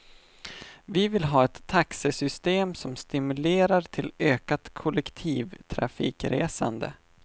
Vi vill ha ett taxesystem som stimulerar till ökat kollektivtrafikresande.